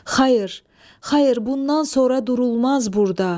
Xayır, xayır, bundan sonra durulmaz burda.